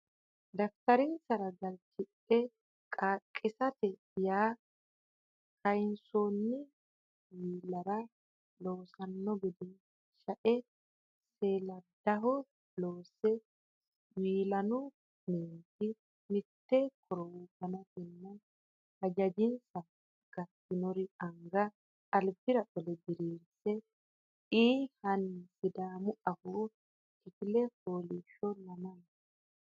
daftarinsara galchidhe Qaaqqiissate yaa kaynsoonni wi lara loossanno gede shae saleedaho loosse wi laanu meenti mitte korowo gantanna hajajinsa gatinori anga albira qole diriirisse ii hina Sidaamu Afoo Kifile Fooliishsho Lamala !